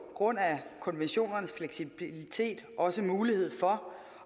grund af konventionernes fleksibilitet også mulighed for